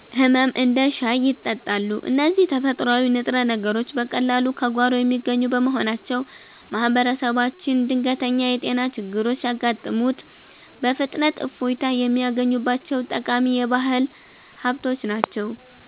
ህመም እንደ ሻይ ይጠጣሉ። እነዚህ ተፈጥሯዊ ንጥረ ነገሮች በቀላሉ ከጓሮ የሚገኙ በመሆናቸው፣ ማህበረሰባችን ድንገተኛ የጤና ችግሮች ሲያጋጥሙት በፍጥነት እፎይታ የሚያገኝባቸው ጠቃሚ የባህል ሀብቶች ናቸው።